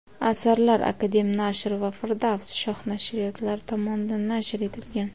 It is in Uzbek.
Asarlar "Akademnashr" va "Firdavs – shoh" nashriyotlari tomonidan nashr etilgan.